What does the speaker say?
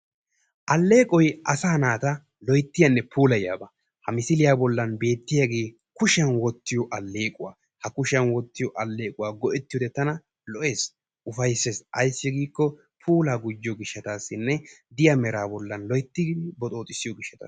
aleeqoy asaa naata loyttiyanne puulayiyaba. ha misiliyan xeeliyoogee kushiyan wottiyo aleequwa, ha kushiyan wotiyo aleequwa goetiyode tana lo'ees, ufaysses. ayssi giiko puulaa gujjiyo gishaasanne diya meraa haa gujjiyo gishhaasa.